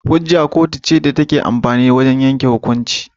Hujja kotu ce take amfani da wajan yanke hukunci